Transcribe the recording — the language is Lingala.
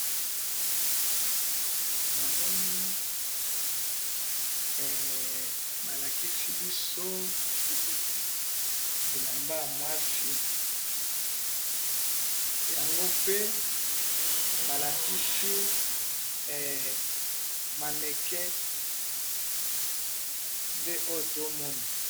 Namoni balakisi biso bilamba ya mwasi, yango pe balakisi mannequin yango wana tozo mona.